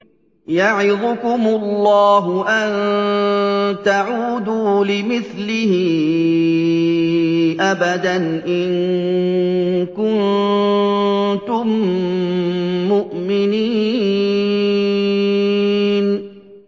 يَعِظُكُمُ اللَّهُ أَن تَعُودُوا لِمِثْلِهِ أَبَدًا إِن كُنتُم مُّؤْمِنِينَ